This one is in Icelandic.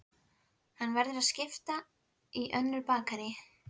Hann verður að skipta við önnur bakarí.